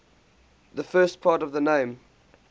the first part of the name